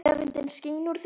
Öfundin skín úr þeim.